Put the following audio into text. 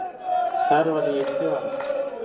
Þar var ég í tvö ár.